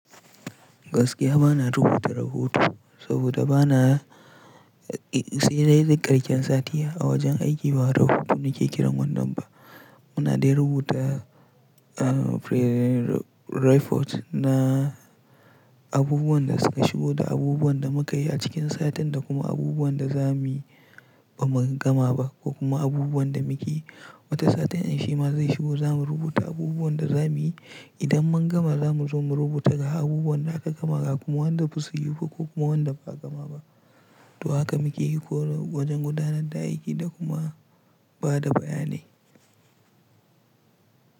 Gaskiya bana rubuta rahoto saboda bana yi sai dai karshen satiya. A wajen aiki ba rahoto nake kiran wannan ba. Muna dai rubuta, ah, pre-report na abubuwan da suka shigo da abubuwan da muka yi a cikin satin da kuma abubuwan da za mu yi ba mu gama ba ko kuma abubuwan da muke wata satin ansima zai shigo za mu rubuta abubuwan da za mu yi. Idan mun gama za mu zo mu rubuta ga abubuwan da aka gama ga kuma wanda basu yi ko kuma wanda ba a gama ba. To haka muke yi ko wajen gudanar da aiki da kuma ba da bayanai.